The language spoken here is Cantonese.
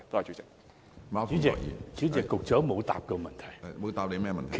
主席，局長沒有回答我的補充質詢。